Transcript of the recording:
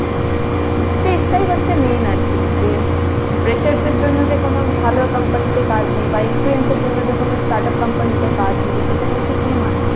সেটাই হচ্ছে মেন আরকি, যে freshers এর জন্য যে কোন ভালো company তে কাজ নেই বা experience এর জন্য যে কোন start-up company তে কাজ নেই, সেটা কিন্তু কোন মানে হয় না।